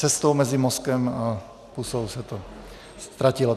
Cestou mezi mozkem a pusou se to ztratilo.